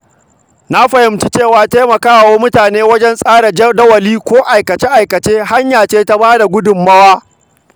Na fahimci cewa taimakawa mutum wajen tsara jadawali ko aikace-aikace hanya ce ta ba da gudunmawa.